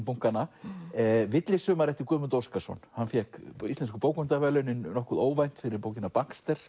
bunkana villisumar eftir Guðmund Óskarsson hann fékk Íslensku bókmenntaverðlaunin nokkuð óvænt fyrir bókina